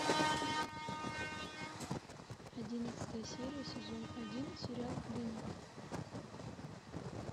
одиннадцатая серия сезон один сериал клиника